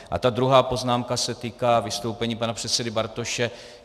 A ta druhá poznámka se týká vystoupení pana předsedy Bartoše.